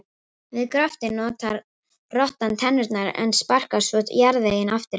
Við gröftinn notar rottan tennurnar en sparkar svo jarðveginum aftur fyrir sig.